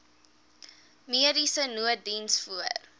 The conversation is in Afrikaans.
mediese nooddiens voor